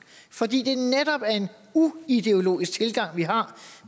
fordi det netop er en uideologisk tilgang vi har